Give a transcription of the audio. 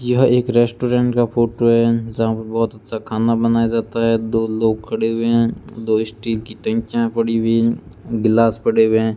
यह एक रेस्टोरेंट का फोटो है जहां पे बहोत अच्छा खाना बनाया जाता है दो लोग खड़े हुए हैं दो स्टील की टंकियां पड़ी हुई गिलास पड़े हुए हैं।